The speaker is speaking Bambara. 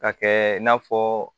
Ka kɛ i n'a fɔ